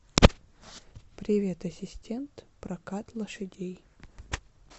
привет ассистент прокат лошадей